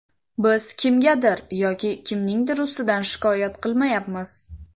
Biz kimgadir yoki kimningdir ustidan shikoyat qilmayapmiz.